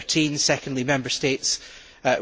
2013. Secondly, Member States